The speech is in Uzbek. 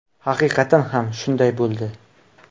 Haqiqatan ham shunday bo‘ldi.